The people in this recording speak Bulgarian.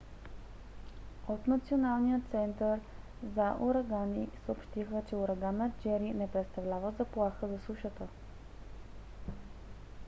от националният център за урагани nhc съобщиха че ураганът джери не представлява заплаха за сушата